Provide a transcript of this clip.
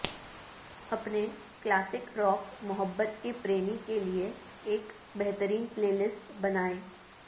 اپنے classic rock محبت کے پریمی کے لئے ایک بہترین پلے لسٹ بنائیں